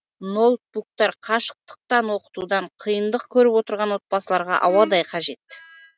ноутбуктар қашықтықтан оқытудан қиындық көріп отырған отбасыларға ауадай қажет